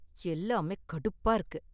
எல்லாமே கடுப்பா இருக்கு.